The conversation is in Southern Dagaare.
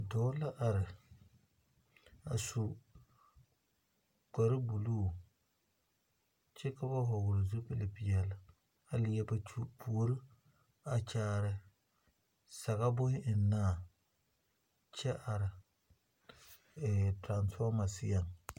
Dɔɔ la are a su kpare buluu kyɛ ka ba vɔgle zupili peɛle a leɛ ba puori a kyaare sagere boŋ ennaa kyɛ are terefɔɔma zeɛŋ.